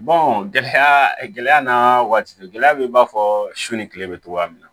gɛlɛya gɛlɛya n'a waati gɛlɛya bɛ i b'a fɔ su ni tile bɛ cogoya min na